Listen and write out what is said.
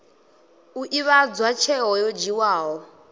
u ivhadzwa tsheo yo dzhiiwaho